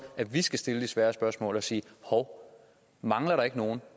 at vi skal stille de svære spørgsmål og sige hov mangler der ikke nogen